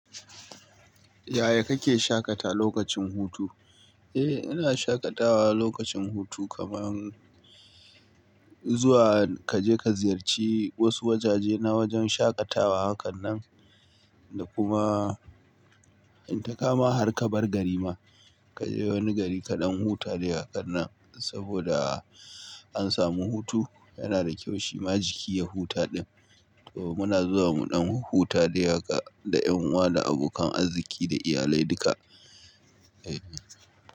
Yaya kake shaƙata lokacin hutu? Eh, ina shaƙatawa lokacin hutu kaman zuwa kaje ka ziyarci wasu wajaje na wajen shaƙatawa hakanan da kuma in ta kama har ka bar gari ma kaje wani gari ka ɗan huta dai hakan nan saboda an samu hutu. Yana da kyau shi majiki ya huta ɗin. To muna zuwa mu ɗan huta dai haka da ƴan uwa da abokan arziki da iyalai duka. Eh.